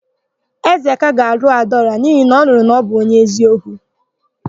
Ezeka ga-alụ Adaọra n'ihi na ọ nụrụ na ọ bụ onye eziokwu.